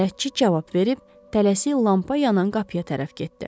Bələdçi cavab verib tələsik lampa yanan qapıya tərəf getdi.